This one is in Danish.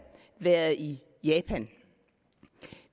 været i japan